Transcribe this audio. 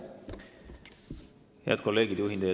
Head kolleegid!